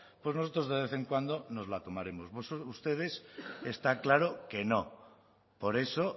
pues nosotros de vez en cuando nos la tomaremos ustedes está claro que no por eso